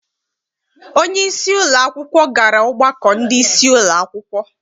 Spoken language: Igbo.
Onyeisi ụlọakwụkwọ gara ọgbakọ ndị isi ụlọakwụkwọ.